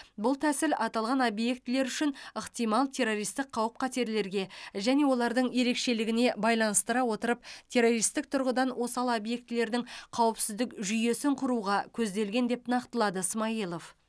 бұл тәсіл аталған объектілер үшін ықтимал террористік қауіп қатерлерге және олардың ерекшелігіне байланыстыра отырып террористік тұрғыдан осал объектілердің қауіпсіздік жүйесін құруға көзделген деп нақтылады смайылов